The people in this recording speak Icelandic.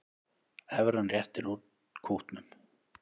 Evran réttir út kútnum